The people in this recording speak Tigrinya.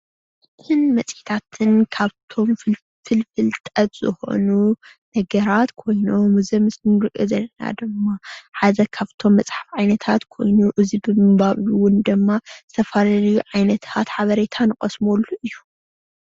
እዞም መፅሄታት ካብቶም ፍልፍል ፍልጠት ዝኮኑ ነገራት ኮይኑ ኣብዚ ምስሊ እንሪኦ ዘለና ድማ ሓደ ካብቶም መፅሓፍ ዓይነታት ኮይኑ እዙይ ብምንባብ ዝተፈላለዩ ዓይነት ሓበሬታ ንቀስመሉ እዩ፡፡